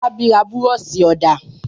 Fọlábí ra búrọ́ṣì-ọ̀dà?